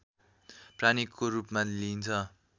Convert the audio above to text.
प्राणीको रूपमा लिइन्छ